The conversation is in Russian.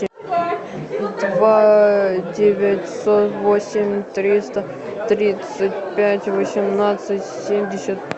два девятьсот восемь триста тридцать пять восемнадцать семьдесят